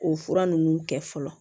O fura ninnu kɛ fɔlɔ